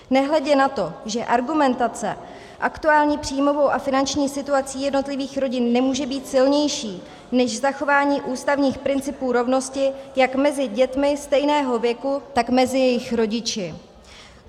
Nehledě na to, že argumentace aktuální příjmovou a finanční situací jednotlivých rodin nemůže být silnější než zachování ústavních principů rovnosti jak mezi dětmi stejného věku, tak mezi jejich rodiči.